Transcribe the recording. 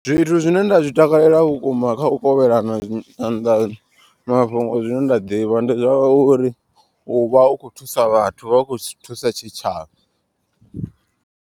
Zwithu zwine nda zwi takalela vhukuma kha u kovhelana nyanḓano mafhungo zwine nda ḓivha. Ndi zwa uri uvha u kho thusa vhathu vha khou thusa tshitshavha.